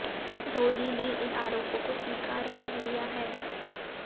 धोनी ने इन आरोपों को स्वीकार कर लिया है